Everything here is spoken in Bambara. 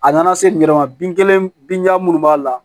A nana se n yɛrɛ ma bin kelen bin b'a la